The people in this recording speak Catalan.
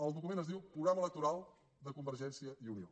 el document es diu programa electoral de convergència i unió